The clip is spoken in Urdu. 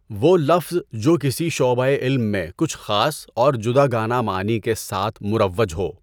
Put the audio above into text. وہ لفظ جو کسی شعبۂِ علم میں کچھ خاص اور جداگانہ معانی کے ساتھ مُرَوَّج ہو۔